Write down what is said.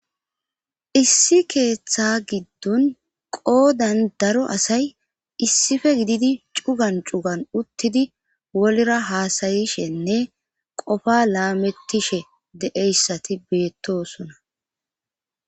issi keeththa giddon qoodan daro asay issife gididi cugan cugan uttidi wolira haasayishenne qofa laamettishe de7eyssati beettosona.